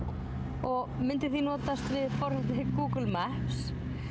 og myndi því notast við forritið Google Maps